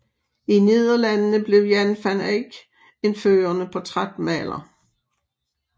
I Nederlandene blev Jan van Eyck en førende portrætmaler